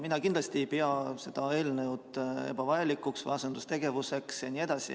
Mina kindlasti ei pea seda eelnõu ebavajalikuks ega asendustegevuseks.